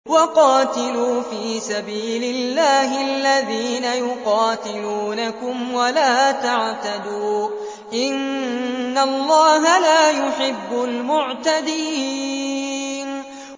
وَقَاتِلُوا فِي سَبِيلِ اللَّهِ الَّذِينَ يُقَاتِلُونَكُمْ وَلَا تَعْتَدُوا ۚ إِنَّ اللَّهَ لَا يُحِبُّ الْمُعْتَدِينَ